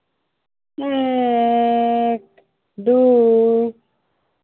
এক, দুই।